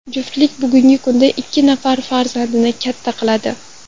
Juftlik bugungi kunda ikki nafar farzandni katta qiladi.